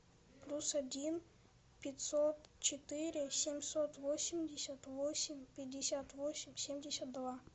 плюс один пятьсот четыре семьсот восемьдесят восемь пятьдесят восемь семьдесят два